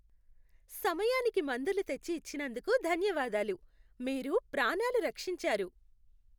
సమయానికి మందులు తెచ్చి ఇచ్చినందుకు ధన్యవాదాలు. మీరు ప్రాణాలు రక్షించారు.